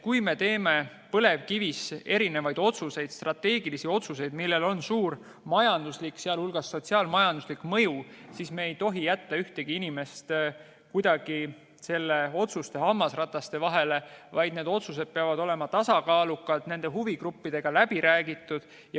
Kui me teeme põlevkivisektoris strateegilisi otsuseid, millel on suur majanduslik, sh sotsiaal-majanduslik mõju, siis me ei tohi jätta ühtegi inimest kuidagi hammasrataste vahele, vaid need otsused peavad olema tasakaalukalt huvigruppidega läbi räägitud.